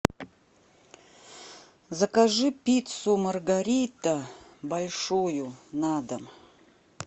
закажи пиццу маргарита большую на дом